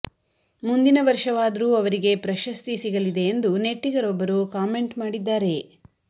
ಮುಂದಿನ ವರ್ಷವಾದರೂ ಅವರಿಗೆ ಪ್ರಶಸ್ತಿ ಸಿಗಲಿದೆ ಎಂದು ನೆಟ್ಟಿಗರೊಬ್ಬರು ಕಾಮೆಂಟ್ ಮಾಡಿದ್ದಾರೆ